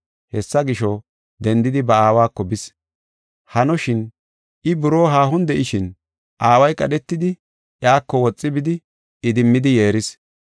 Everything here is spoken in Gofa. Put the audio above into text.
Hessa gisho, dendidi ba aawako bis. “Hanoshin, I buroo haahon de7ishin aaway qadhetidi, iyako woxi bidi, idimmidi yeeris.